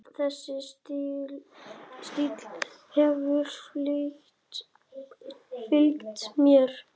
Þessi stíll hefur fylgt mér.